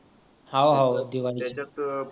त्याच्यात परत